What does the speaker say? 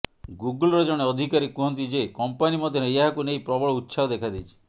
ଗୁଗୁଲ୍ର ଜଣେ ଅଧିକାରୀ କୁହନ୍ତି ଯେ କମ୍ପାନି ମଧ୍ୟରେ ଏହାକୁ ନେଇ ପ୍ରବଳ ଉତ୍ସାହ ଦେଖାଦେଇଛି